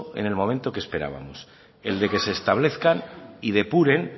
en el momento que esperábamos en el de que establezcan y depuren